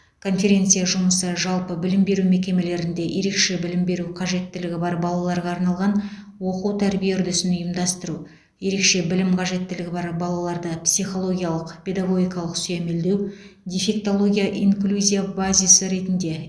конференция жұмысы жалпы білім беру мекемелерінде ерекше білім беру қажеттілігі бар балаларға арналған оқу тәрбие үрдісін ұйымдастыру ерекше білім қажеттілігі бар балаларды психологиялық педагогикалық сүйемелдеу дефектология инклюзия базисі ретінде